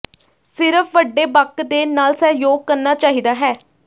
ਸਿਰਫ ਵੱਡੇ ਬਕ ਦੇ ਨਾਲ ਸਹਿਯੋਗ ਕਰਨਾ ਚਾਹੀਦਾ ਹੈ